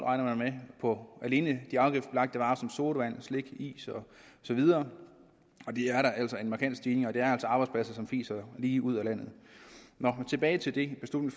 alene de afgiftsbelagte varer som sodavand slik is og så videre det er altså en markant stigning og det er altså arbejdspladser som fiser lige ud af landet tilbage til det som